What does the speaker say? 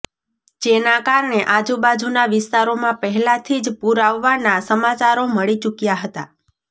જેના કારણે આજુબાજુના વિસ્તારોમાં પહેલાથી જ પૂર આવવા ના સમાચારો મળી ચુક્યા હતા